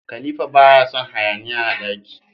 Khalifa baya Son hayaniya a daki